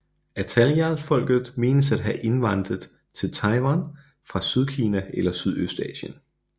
Atayalfolket menes at have indvandtet til Taiwan fra Sydkina eller Sydøstasien